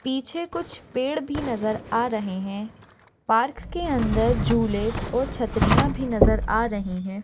पीछे कुछ पेड़ भी नजर आ रहे है। पार्क के अंदर झूले और छत्रीया भी नजर आ रही है।